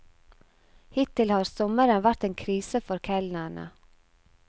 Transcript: Hittil har sommeren vært en krise for kelnerne.